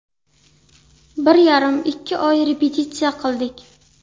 Bir yarim-ikki oy repetitsiya qildik.